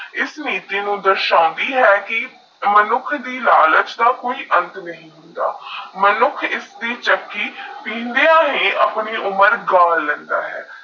ESS ਆਸਾ ਵੀ ਹੈ ਮਨੁੱਖ ਦੀ ਲੈਚ ਦਾ ਅੰਤ ਨਹੀ ਹੁੰਦਾ ਮਨੁੱਖ ਯੇ ਚੱਕੀ ਪਿੰਡੇ ਅਪਣੀ ਉਮਰ ਗਾਵਾ ਗਲੇਂਡਾ ਹੈ